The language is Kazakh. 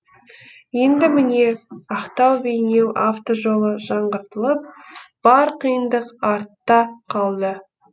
енді міне ақтау бейнеу автожолы жаңғыртылып бар қиындық артта қалды